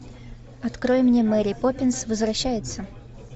открой мне мэри поппинс возвращается